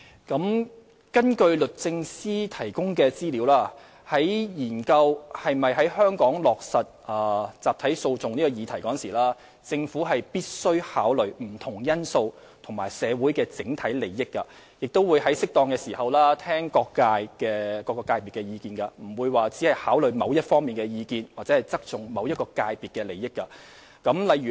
根據律政司提供的資料，在研究是否在香港落實集體訴訟這議題時，政府必須考慮不同因素及社會的整體利益，也會在適當時諮詢各界，不會只考慮某一方的意見或側重某一界別的利益。